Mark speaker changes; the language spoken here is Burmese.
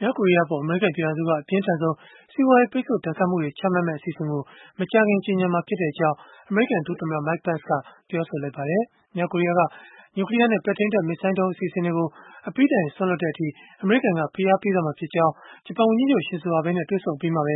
Speaker 1: မြောက်ကိုရီးယားအပေါ် အမေရိကန် ပြည်ထောင်စုက အပြင်းထန်ဆုံး စီးပွားရေး ပိတ်ဆို့ဒဏ်ခတ်မှုတွေ ချမှတ်မယ့် အစီအစဉ်ကို မကြာခင် ကြေညာမှာဖြစ်ကြောင်း အမေရိကန်ဒုသမ္မတ Mike Pence ကပြောဆိုလိုက်ပါတယ်။ မြောက်ကိုရီးယားက နျူကလီးယားနဲ့ ပဲ့ထိန်းတပ် မစ်ဇိုင်းဒုံး အစီအစဉ်တွေကို အပြီးတိုင် စွန့်လွှတ်တဲ့အထိ အမေရိကန်က ဖိအားပေးသွားမှာဖြစ်ကြောင်း ဂျပန်ဝန်ကြီးချုပ် Shinzo Abe နဲ့ တွေ့ဆုံအပြီးမှာပဲ